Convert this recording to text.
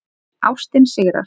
Ástin sigrar